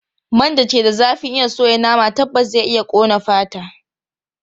Man da ke da zafin iya soya nama tabbas zai iya ƙone fata.